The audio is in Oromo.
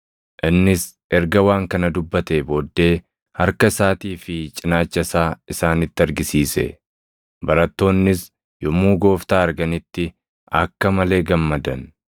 Innis erga waan kana dubbatee booddee harka isaatii fi cinaacha isaa isaanitti argisiise. Barattoonnis yommuu Gooftaa arganitti akka malee gammadan.